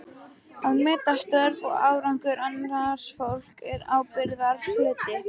Að meta störf og árangur annars fólks er ábyrgðarhluti.